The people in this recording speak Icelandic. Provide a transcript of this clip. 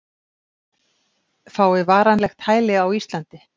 Fái varanlegt hæli á Íslandi